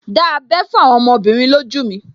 Dá abẹ́ fún àwọn ọmọbìnrin lójú mi